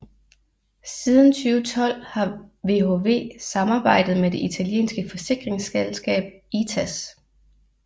Siden 2012 har VHV samarbejdet med det italienske forsikringsselskab ITAS